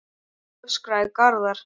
öskraði Garðar.